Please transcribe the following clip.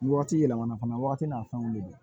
Ni wagati yɛlɛma na fana wagati n'a fɛnw de don